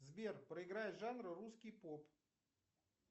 сбер проиграй жанр русский поп